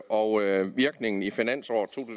og at virkningen i finansåret to